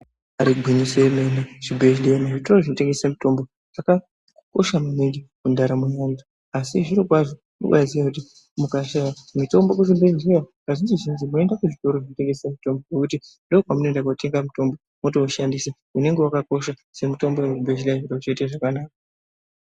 Ibari gwinyiso remene zvibhehleya nezvitoro zvinotengese mutombo zvakakosha maningi mundaramo yemunhu asi zvirokwazvo kubaaziya kuti mukashaye mitombo kuzvibhehleya kazhinjizhinji munoendekuzvitoro zvinotengese mutombo ngokuti ndoko kwamunoenda kotenga mutombo mwotoushandisa unonga wakakosha semutombo wemuchibhehlera zviro zvotoite zvakanaka.